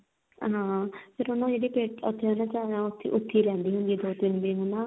ਹਾਂ ਫਿਰ ਨਾ ਜਿਹੜੀ ਪੇਟੀ ਉੱਥੇ ਉਹਦੇ ਘਰ ਆ ਉੱਥੇ ਹੀ ਰਹਿੰਦੀ ਹੁੰਦੀ ਆ ਨਾ ਦੋ ਤਿੰਨ ਦਿਨ ਨਾ